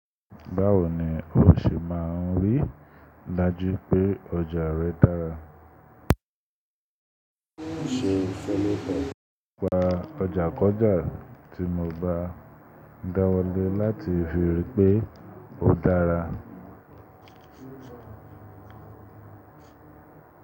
Báwo ni o ṣe máa ń rí dájú pé ọjà rẹ dára? Pàápàá ọjà kọjá tí mo bá dáwọ́ lé láti fi rí pé ó dára.